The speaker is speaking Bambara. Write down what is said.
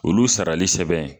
Olu sarali sɛbɛn